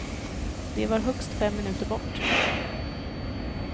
De var högst fem minuter bort.